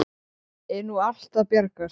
Geirröður, hvernig er veðrið í dag?